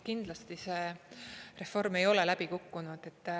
Kindlasti see reform ei ole läbi kukkunud.